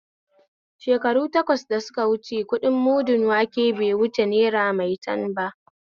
Shekaru takwas da suka wuce kuɗin mudun wanke bai wuce naira maitan ba